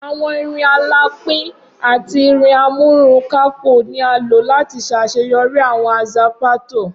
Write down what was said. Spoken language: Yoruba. Awọn irin alapin ati irin amúrunkákò ni a lo lati ṣaṣeyọri awọn aza pato.